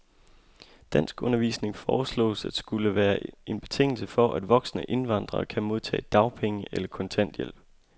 Danskundervisning foreslås at skulle være en betingelse for, at voksne indvandrere kan modtage dagpenge eller kontanthjælp.